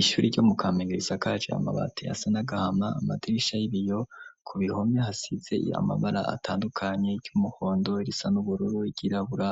Ishuri ryo mu kamenge risakaje amabati yasa n'agahama, amadirisha y'ibiyo. Ku bihome hasize amabara atandukanye, iry'umuhondo, irisa n'ubururu, ryirabura